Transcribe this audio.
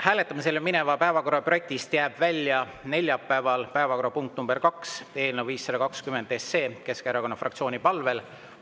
Hääletamisele mineva päevakorra projektist jääb neljapäeval välja päevakorrapunkt nr 2, eelnõu 520, Keskerakonna fraktsiooni palvel.